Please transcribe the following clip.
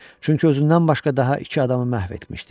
Çünki özündən başqa daha iki adamı məhv etmişdi.